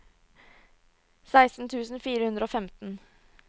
seksten tusen fire hundre og femten